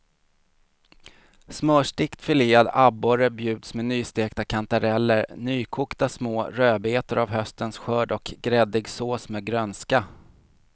Smörstekt filead abborre bjuds med nystekta kantareller, nykokta små rödbetor av höstens skörd och gräddig sås med grönska.